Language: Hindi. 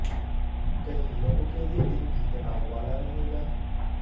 कई लोगों के लिए दिन भी तनाव वाला रहेगा